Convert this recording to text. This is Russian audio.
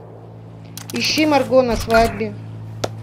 ищи марго на свадьбе